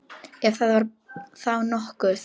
Ef það var þá nokkuð.